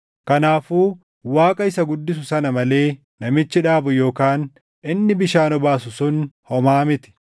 Kanaafuu Waaqa isa guddisu sana malee namichi dhaabu yookaan inni bishaan obaasu sun homaa miti.